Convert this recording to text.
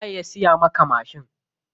Waye ya siya maka mashin?